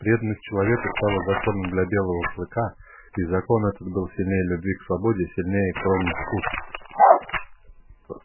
преданность человеку стала законом для белого клыка и закон этот был сильнее любви к свободе сильнее кровных уз